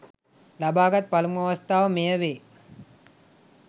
ලබාගත් පළමු අවස්ථාව මෙය වේ